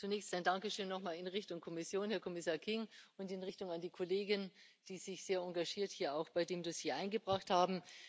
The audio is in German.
Zunächst ein Dankeschön noch mal in Richtung Kommission, Herr Kommissar King, und an die Kollegen, die sich sehr engagiert hier bei dem Dossier eingebracht haben.